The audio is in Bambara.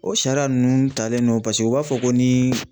O sariya nunnu talen don paseke u b'a fɔ ko ni